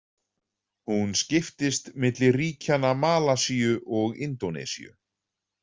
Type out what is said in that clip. Hún skiptist milli ríkjanna Malasíu og Indónesíu.